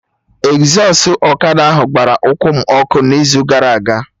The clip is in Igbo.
Ezọstụ ọkada ahụ gbara ụkwụ m ọkụ n'izu gara aga